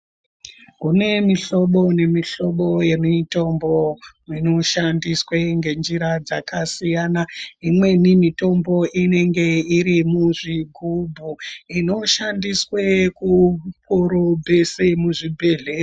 Kune mihlobo nemihlobo yemitombo inoshandiswe ngenzira dzakasiyana imweni mitombo inenge irimuzvigubhu inoshandiswe kukorobha muzvibhedhlera .